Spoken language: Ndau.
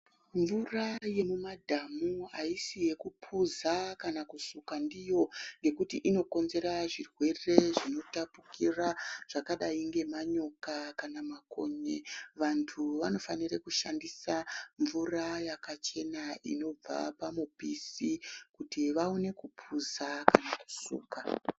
Mvura yemumadhamu haisi yekupuza kana kusuka ndiyo. Ngekuti inokonzera zvirwere zvinotapukira zvakadai nemanyoka kana makonye. Vantu vanofanira kushandisa mvura yakachema inobva pamupisi kuti vaone kupuza kusuka.